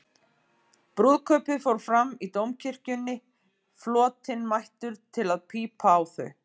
Brúðkaupið fór fram í Dómkirkjunni, flotinn mættur til að pípa á þau.